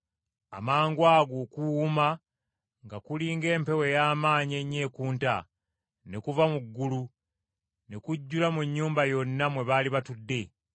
Amangwago okuwuuma, nga kuli ng’empewo ey’amaanyi ennyo ekunta, ne kuva mu ggulu, ne kujjula mu nnyumba yonna mwe baali batudde.